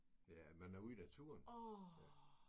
Ja man er ude i naturen